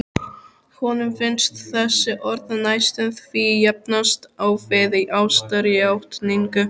Honum finnst þessi orð næstum því jafnast á við ástarjátningu.